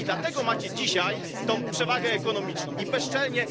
I dlatego macie dzisiaj tę przewagę ekonomiczną i bezczelnie...